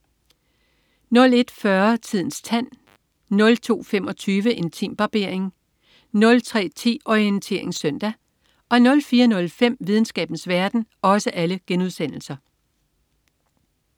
01.40 Tidens tand* 02.25 Intimbarbering* 03.10 Orientering søndag* 04.05 Videnskabens verden*